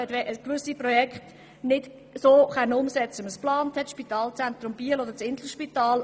Man konnte gewisse Projekte nicht wie geplant umsetzen, etwa beim Spitalzentrum Biel oder beim Inselspital.